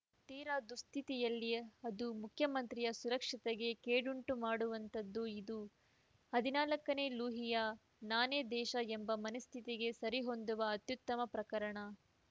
ತೀರ ದುಸ್ಥಿತಿಯಲ್ಲಿ ಅದು ಮುಖ್ಯಮಂತ್ರಿಯ ಸುರಕ್ಷತೆಗೆ ಕೇಡುಂಟುಮಾಡುವಂಥದ್ದು ಇದು ಹದಿನಾಲ್ಕನೆ ಲೂಯಿಯ ನಾನೇ ದೇಶ ಎಂಬ ಮನಸ್ಥಿತಿಗೆ ಸರಿಹೊಂದುವ ಅತ್ಯುತ್ತಮ ಪ್ರಕರಣ